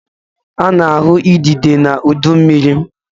A na-ahụ idide n'udu mmiri.